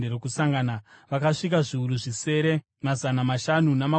vakasvika zviuru zvisere, mazana mashanu namakumi masere.